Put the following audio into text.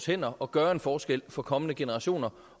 hænderne og gøre en forskel for kommende generationer